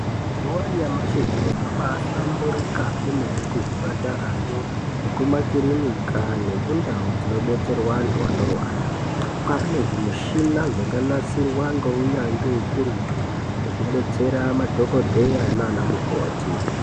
Nguwa yanyamashi zviro zvabaahlamburika kwemene kuzvipatarayo, nekumakirinika nekundau dzinobetserwa antu anorwara. Kwaane zvimishina zvakanasirwa ngounyanzvi ukurutu, zvokubetsera madhokodheya naanamukoti .